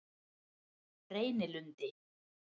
Reynilundi